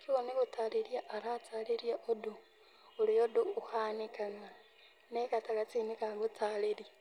Koguo nĩ gũtarĩria aratarĩria ũndũ, ũrĩa ũndũ ũhanikaga na arĩ gatagatĩ-inĩ ga gũtarĩria.